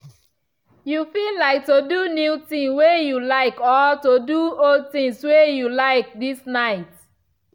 you feel like to do new something way you like or to do old things way you like this night.